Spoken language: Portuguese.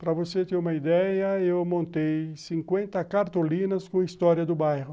Para você ter uma ideia, eu montei cinquenta cartolinas com história do bairro.